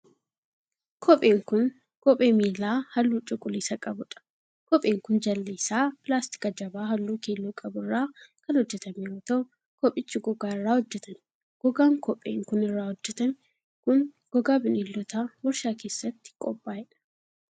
Kopheen kun, kophee miilaa haalluu cuquliisa qabuu dha. Kopheen kun jalli isaa pilaastika jabaa haalluu keelloo qabu irraa kan hojjatame yoo ta'u, kophichi gogaa irraa hojjatame. Gogaan kopheen kun irraa hojjatamee kun, gogaa bineeldotaa warshaa keessatti qophaa'e dha.